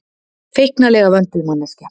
Feiknalega vönduð manneskja.